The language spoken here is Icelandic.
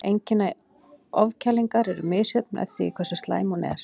Einkenni ofkælingar eru misjöfn eftir því hversu slæm hún er.